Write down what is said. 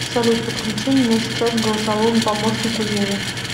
салют подключи меня сейчас к голосовому помощнику еве